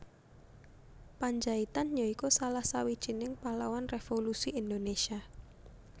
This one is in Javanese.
Pandjaitan ya iku salah sawijining pahlawan revolusi Indonésia